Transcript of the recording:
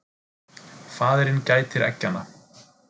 Faðirinn gætir eggjanna.